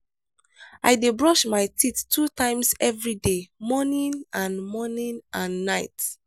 i dey brush my teeth two times every day morning and morning and night.